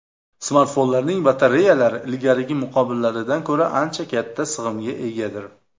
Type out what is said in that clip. Smartfonlarning batareyalari ilgarigi muqobillaridan ko‘ra ancha katta sig‘imga egadir.